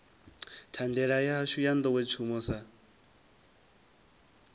thandela yashu ya nḓowetshumo sa